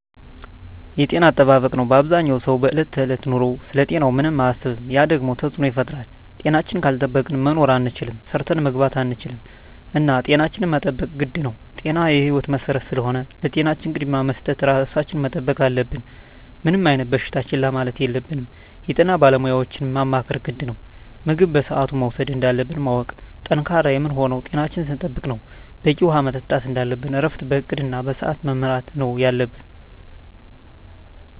የጤና አጠባበቅ ነው አበዛኛው ሰው በዕለት ከዕለት ኑሮው ስለ ጤናው ምንም አያስብም ያ ደግሞ ተፅዕኖ ይፈጥራል። ጤናችን ካልጠበቅን መኖር አንችልም ሰርተን መግባት አንችልም እና ጤናችን መጠበቅ ግድ ነው ጤና የህይወት መሰረት ስለሆነ ለጤናችን ቅድሚያ በመስጠት ራሳችን መጠበቅ አለብን። ምንም አይነት በሽታ ችላ ማለት የለብንም የጤና ባለሙያዎችን ማማከር ግድ ነው። ምግብ በስአቱ መውሰድ እንዳለብን ማወቅ። ጠንካራ የምንሆነው ጤናችን ስንጠብቅ ነው በቂ ውሀ መጠጣት እንደለብን እረፍት በእቅድ እና በስዐት መመራት ነው የለብን